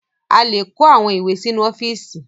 A lè kó àwọn ìwé sínú ọ́fíísì.